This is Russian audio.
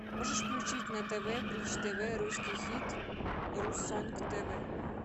можешь включить на тв бридж тв русский хит русонг тв